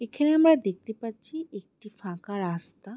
এখানে আমরা দেখতে পাচ্ছি একটি ফাঁকা রাস্তা।